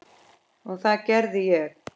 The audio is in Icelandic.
Og það gerði ég.